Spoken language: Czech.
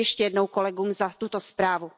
Děkuji ještě jednou kolegům za tuto zprávu.